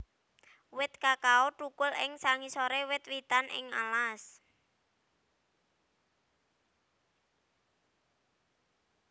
Wit kakao thukul ing sangisoré wit witan ing alas